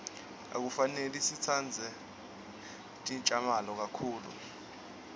akufanele sitsabze tjamala kakhulu